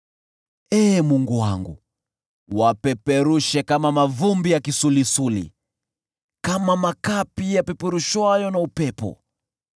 Ee Mungu wangu, wapeperushe kama mavumbi ya kisulisuli, kama makapi yapeperushwayo na upepo.